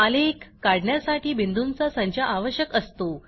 आलेख काढण्यासाठी बिंदूंचा संच आवश्यक असतो